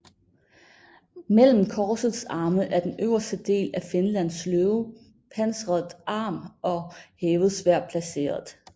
Mellem korsets arme er den øverste del af Finlands løve med pansret arm og hævet sværd placeret